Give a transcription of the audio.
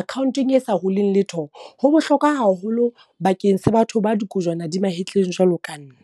accountong e sa huling letho, ho bohlokwa haholo bakeng sa batho ba dikojwana di mahetleng jwalo ka nna.